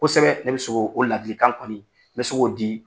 Kosɛbɛ, ne bɛ se k'o ladilikan kɔni, n bɛ se k'o di.